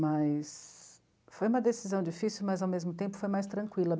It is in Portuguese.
Mas foi uma decisão difícil, mas, ao mesmo tempo, foi mais tranquila.